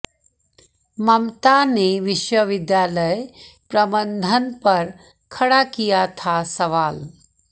ममता ने विश्वविद्यालय प्रबंधन पर खड़ा किया था सवाल